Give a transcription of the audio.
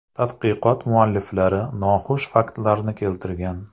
Tadqiqot mualliflari noxush faktlarni keltirgan.